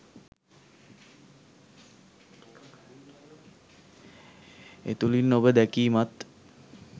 ඒ තුලින් ඔබ දැකීමත්